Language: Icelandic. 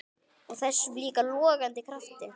Og þessum líka logandi krafti.